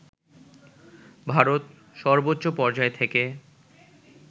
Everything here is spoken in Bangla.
ভারত সর্বোচ্চ পর্যায় থেকে